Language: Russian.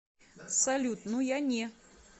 салют ну я не